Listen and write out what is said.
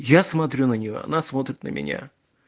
я смотрю на нее она смотрит на меня